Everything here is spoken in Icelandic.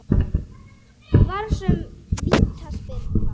Vafasöm vítaspyrna?